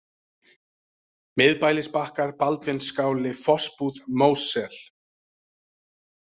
Miðbælisbakkar, Baldvinsskáli, Fossbúð, Mósel